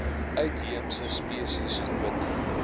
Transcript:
uitheemse spesies groter